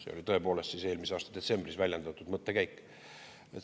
See oli eelmise aasta detsembris väljendatud mõttekäik.